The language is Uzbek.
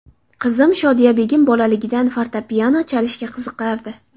Qizim Shodiyabegim bolaligidan fortepiano chalishga qiziqardi.